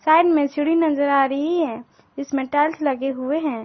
में चूड़ी नजर आ रही है इसमें टाइल्स लगे हुए हैं।